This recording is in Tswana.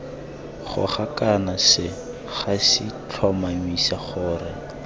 goga kana segasi tlhomamisa gore